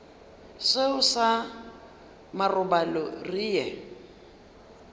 seo sa marobalo re ye